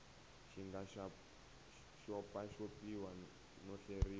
xi nga xopaxopiwa no hleriwa